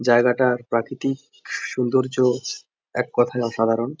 জায়গাটা প্রাকৃতিক সৌন্দর্য এক কথায় অসাধারণ।